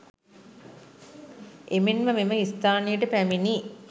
එමෙන්ම මෙම ස්ථානයට පැමිණී